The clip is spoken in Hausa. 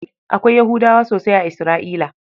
Akwai Yahudawa sosai a Isra'ila.